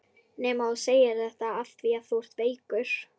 Nema að þú segir þetta afþvíað þú ert veikur.